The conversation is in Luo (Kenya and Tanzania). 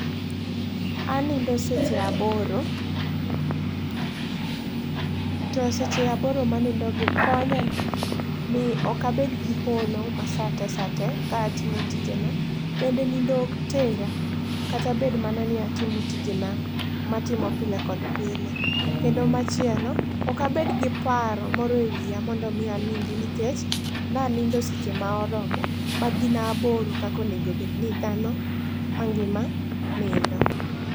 Anindo seche aboro to seche aboro manindo gi konya ni ok abed gi olo masate sate ka a timo tijen abende nindo ok tera kata bed mana ni atimo tijena matimo pile kod pile. Kendo machielo ok abed gi paro moro ewiya mondo mi anindi nikech nanindo seche ma oromo ma gin aboro kaka onego ni dhano mangima nindo